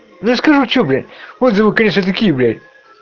не скажу что блять отзывы конечно такие блять